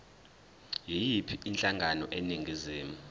yiyiphi inhlangano eningizimu